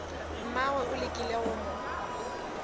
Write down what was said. mmagwe o lekile go mo